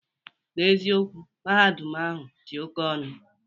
N'eziokwu, Mahadum ahụ dị oke ọnụ